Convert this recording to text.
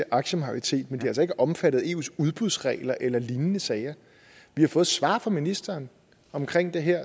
aktiemajoritet men det er altså ikke omfattet af eus udbudsregler eller lignende sager vi har fået svar fra ministeren omkring det her